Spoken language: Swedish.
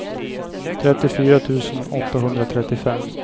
trettiofyra tusen åttahundratrettiofem